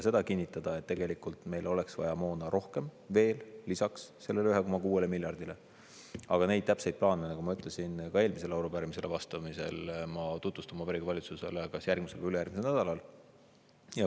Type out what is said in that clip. Ma võin kinnitada, et tegelikult meil oleks vaja moona rohkem, veel lisaks sellele 1,6 miljardile, aga neid täpseid plaane, nagu ma ütlesin ka eelmisele arupärimisele vastates, ma tutvustan Vabariigi Valitsusele kas järgmisel või ülejärgmisel nädalal.